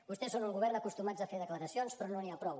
vostès són un govern acostumat a fer declaracions però no n’hi ha prou